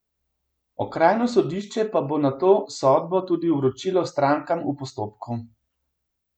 Okrajno sodišče pa bo nato sodbo tudi vročilo strankam v postopku.